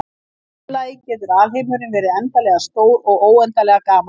Í öðru lagi getur alheimurinn verið endanlega stór og óendanlega gamall.